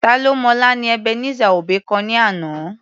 Ta ló mọ̀la ni Ebenezer Obey kọ ní àná.